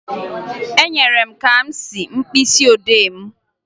Enyere m Kamsi mkpịsịodee m